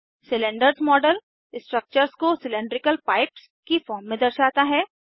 cylinders model structures को cylindrical pipes की form में दर्शाता है